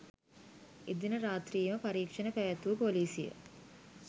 එදින රාත්‍රියේම පරීක්‍ෂණ පැවැත්වූ පොලිසිය